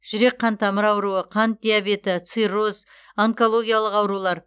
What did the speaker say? жүрек қантамыр ауруы қант диабеті цирроз онкологиялық аурулар